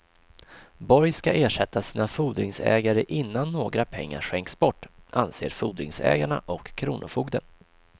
Borg ska ersätta sina fordringsägare innan några pengar skänks bort, anser fordringsägarna och kronofogden.